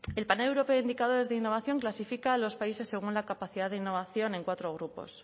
el panel europeo de indicadores de innovación clasifica a los países según la capacidad de innovación en cuatro grupos